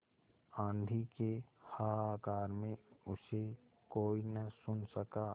आँधी के हाहाकार में उसे कोई न सुन सका